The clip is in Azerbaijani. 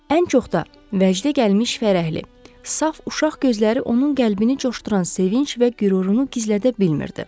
Ən çox da vəcdə gəlmiş, fərəhli, saf uşaq gözləri onun qəlbini coşduran sevinc və qürurunu gizlədə bilmirdi.